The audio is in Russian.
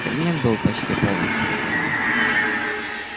кабинет был почти полностью разорён